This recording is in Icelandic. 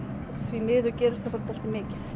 því miður gerist það bara dálítið mikið